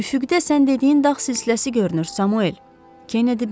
Üfüqdə sən dediyin dağ silsiləsi görünür, Samuel, Kennedy bildirdi.